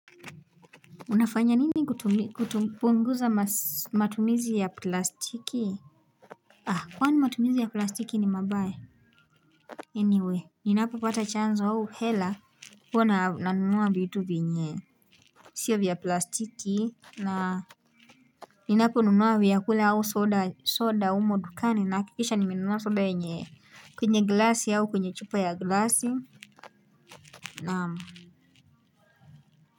Unafanya nini kupunguza matumizi ya plastiki. Kwani matumizi ya plastiki ni mabaya? Anyway ninapo pata chanzo au hela huwa na nunua vitu venye sio vya plastiki na ninapo nunua vya kula au soda umo dukani na akikisha nimenunua soda yenye kwenye glasi au kwenye chupa ya glasi naam.